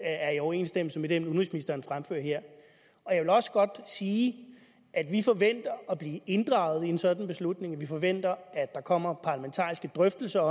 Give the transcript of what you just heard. er i overensstemmelse med den udenrigsministeren fremfører her jeg vil også godt sige at vi forventer at blive inddraget i en sådan beslutning og at vi forventer at der kommer parlamentariske drøftelser